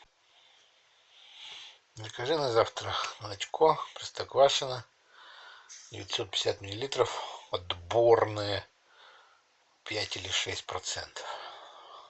закажи на завтра молочко простоквашино девятьсот пятьдесят миллилитров отборное пять или шесть процентов